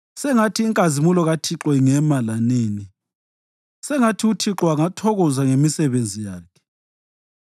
Sengathi inkazimulo kaThixo ingema lanini; sengathi uThixo angathokoza ngemisebenzi yakhe